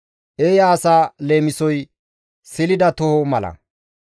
Eeya asa leemisoy silida toho mala.